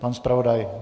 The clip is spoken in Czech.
Pan zpravodaj?